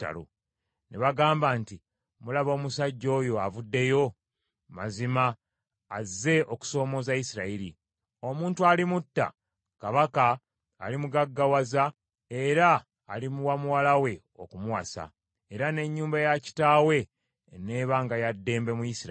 Ne bagamba nti, “Mulaba omusajja oyo avuddeyo? Mazima, azze okusoomooza Isirayiri. Omuntu alimutta, kabaka alimugaggawaza era alimuwa muwala we okumuwasa, era n’ennyumba ya kitaawe eneebanga ya ddembe mu Isirayiri.”